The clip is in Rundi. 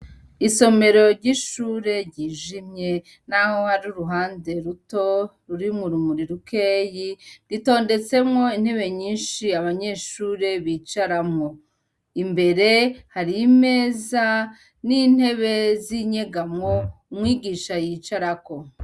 Isomero ry'ishure ryijimye naho hari uruhande ruto rurimwo urumuri rukeya ritondetsemwo intebe nyinshi abanyeshure bicaramwo. Imbere hari imeza n'intebe z'inyegamo umwigisha yicarako.